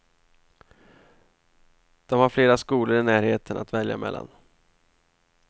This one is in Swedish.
De har flera skolor i närheten att välja mellan.